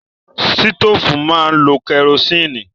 Sítòfù máa lo kẹrosínì.